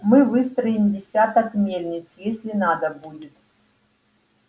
мы выстроим десяток мельниц если надо будет